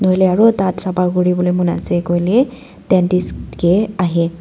nahoile aro daat sapha kuri bole mon ase koile dentist ke ahie.